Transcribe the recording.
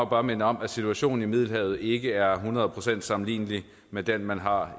bare minde om at situationen i middelhavet ikke er hundrede procent sammenlignelig med den man har